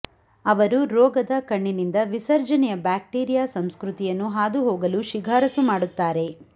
ಅವರು ರೋಗದ ಕಣ್ಣಿನಿಂದ ವಿಸರ್ಜನೆಯ ಬ್ಯಾಕ್ಟೀರಿಯಾ ಸಂಸ್ಕೃತಿಯನ್ನು ಹಾದುಹೋಗಲು ಶಿಫಾರಸು ಮಾಡುತ್ತಾರೆ